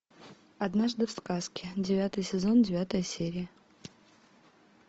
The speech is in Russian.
однажды в сказке девятый сезон девятая серия